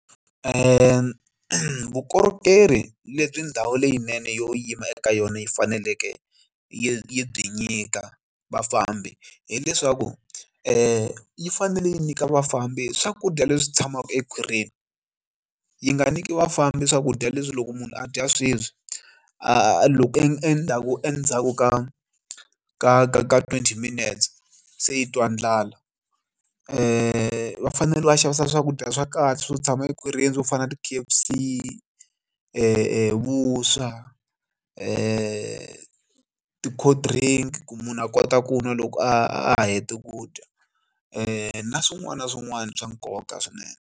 Vukorhokeri lebyi ndhawu leyinene yo yima eka yona yi faneleke yi byi nyika vafambi hileswaku yi fanele yi nyika vafambi swakudya leswi tshamaka ekhwirini yi nga nyiki vafambi swakudya leswi loko munhu a dya sweswi a loko endzhaku endzhaku ka ka ka ka twenty minutes se i twa ndlala va fanele va xavisa swakudya swa kahle swo tshama ekhwirini swo fana na ti-K_F_C vuswa ti-cold drink ku munhu a kota ku nwa loko a hete ku dya na swin'wana na swin'wana swa nkoka swinene.